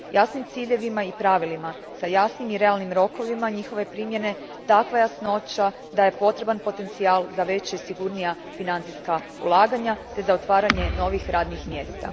Jasnim ciljevima i pravilima sa jasnim i realnim rokovima njihove primjene takva jasnoća daje potreban potencijal za veća i sigurnija financijska ulaganja te za otvaranje novih radnih mjesta.